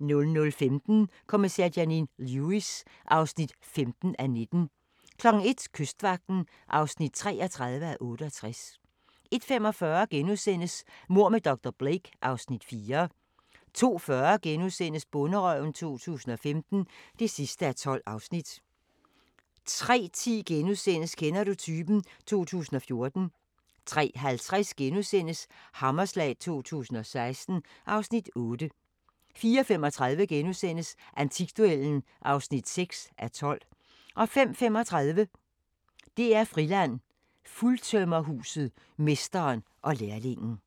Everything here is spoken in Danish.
00:15: Kommissær Janine Lewis (15:19) 01:00: Kystvagten (33:68) 01:45: Mord med dr. Blake (Afs. 4)* 02:40: Bonderøven 2015 (12:12)* 03:10: Kender du typen? 2014 * 03:50: Hammerslag 2016 (Afs. 8)* 04:35: Antikduellen (6:12)* 05:35: DR-Friland: Fuldtømmerhuset – mesteren og lærlingen